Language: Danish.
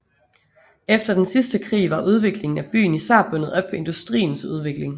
Efter den sidste krig var udviklingen af byen især bundet op på industriens udvikling